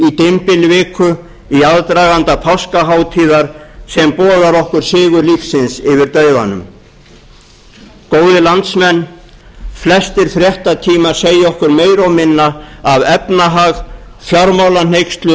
dymbilviku í aðdraganda páskahátíðar sem boðar okkur sigur lífsins yfir dauðanum góðir landsmenn flestir fréttatímar segja okkur meira og minna af efnahag fjármálahneykslum og gjaldþrotum